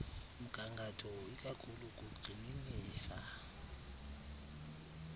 mgangatho ikakhulu kugxininisa